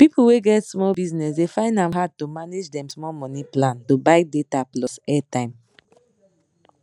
people wey get small business dey find ahm hard to manage dem small money plan to buy data plus airtime